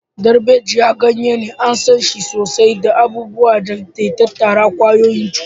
Darbejiya, ganye, an san shi sosai don abubuwan da ke tattare da ƙwayoyin cuta.